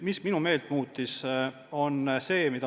Miks ma meelt muutsin?